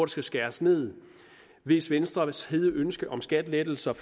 skal skæres ned hvis venstres hede ønske om skattelettelser